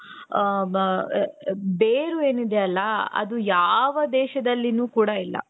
ಬೇರು ಏನಿದೆಯಲ್ಲ ಅದು ಯಾವ ದೇಶದಲ್ಲಿನೂ ಕೂಡ ಇಲ್ಲ.